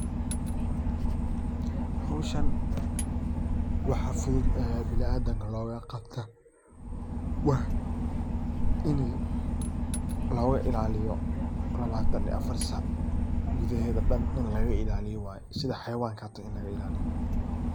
Hawshan waxaa fudud ee biniadamka looga qabta waa in looga ilaaliyo labatan iyo afar sac gudaheeda dan in laga ilaaliyo waye sida xayawanka hata in laga ilaaliyo waye.